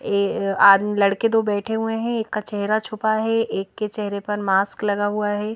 ए अआदमी लड़के दो बैठे हुए हैं एक का चेहरा छुपा है एक के चेहरे पर मास्क लगा हुआ है।